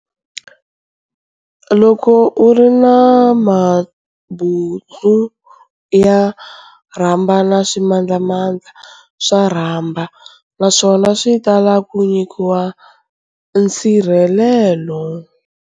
Loko u ri na mabuntsu ya rhaba na swimandlamandla swa rhaba naswona swi tala ku nyika nsirhelelelo.